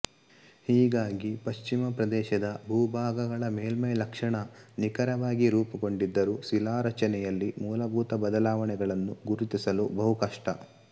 ಹೀಗಾಗಿ ಪಶ್ಚಿಮ ಪ್ರದೇಶದ ಭೂಭಾಗಗಳ ಮೇಲ್ಮೈಲಕ್ಷಣ ನಿಖರವಾಗಿ ರೂಪುಗೊಂಡಿದ್ದರೂ ಶಿಲಾರಚನೆಯಲ್ಲಿ ಮೂಲಭೂತ ಬದಲಾವಣೆಗಳನ್ನು ಗುರುತಿಸಲು ಬಹು ಕಷ್ಟ